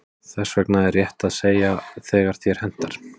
Þess vegna er rétt að segja þegar þér hentar.